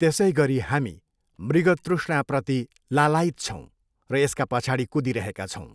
त्यसैगरी हामी मृगतृष्णाप्रति लालायित छौँ र यसका पछाडि कुदिरहेका छौँ।